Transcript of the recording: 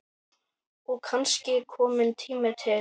Og kannski kominn tími til.